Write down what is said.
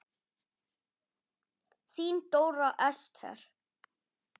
Þín Dóra Esther.